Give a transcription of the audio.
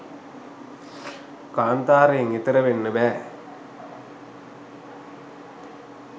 කාන්තාරයෙන් එතෙර වෙන්න බැහැ.